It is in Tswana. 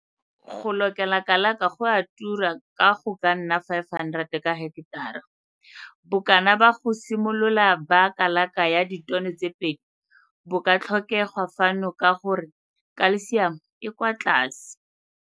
Go lokela kalaka go a tura ka go ka nna R500 ka heketara. Bokana ba go simolola ba kalaka ya ditono tse pedi bo ka tlhokegwa fano ka gore kalsiamo e kwa tlase.